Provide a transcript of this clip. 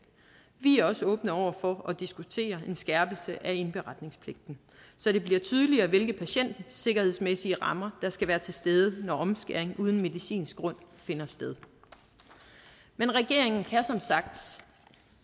vi er også åbne over for at diskutere en skærpelse af indberetningspligten så det bliver tydeligere hvilke patientsikkerhedsmæssige rammer der skal være til stede når omskæring uden medicinsk grund finder sted men regeringen ser som sagt